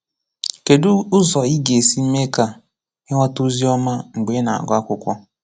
Kédụ ụzọ ị gā-esi mee ka ị ghọ́ta ozi ọma mgbe ị na-agụ akwụkwọ?